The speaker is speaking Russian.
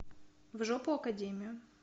в жопу академию